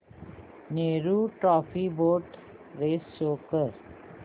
Nehru trophy boat race show कर